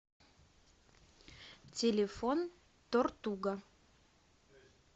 телефон тортуга